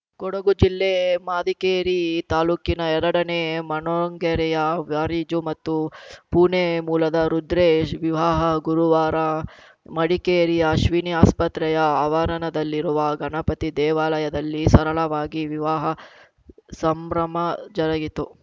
ಕೊಡಗು ಜಿಲ್ಲೆ ಮದಿಕೇರಿ ತಾಲೂಕಿನ ಎರಡನೇ ಮಣ್ಣೊಂಗೇರಿಯ ವಾರಿಜೊ ಮತ್ತು ಪುಣೆ ಮೂಲದ ರುದ್ರೇಶ್‌ ವಿವಾಹ ಗುರುವಾರ ಮಡಿಕೇರಿಯ ಅಶ್ವಿನಿ ಆಸ್ಪತ್ರೆಯ ಆವರಣದಲ್ಲಿರುವ ಗಣಪತಿ ದೇವಾಲಯದಲ್ಲಿ ಸರಳವಾಗಿ ವಿವಾಹ ಸಂಭ್ರಮ ಜರುಗಿತು